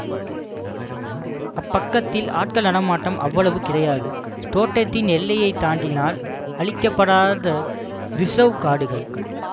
அப்பக்கத்தில் ஆட்கள் நடமாட்டம் அவ்வளவு கிடையாது தோட்டத்தின் எல்லையை தாண்டினால் அழிக்கப்படாத ரிஸர்வ் காடுகள்